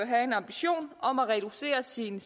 have en ambition om at have reduceret sin